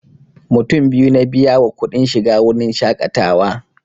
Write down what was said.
Mutum biyu na biya wa kuɗin shiga wurin shaƙatawa